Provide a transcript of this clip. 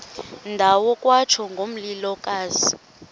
ndawo kwatsho ngomlilokazi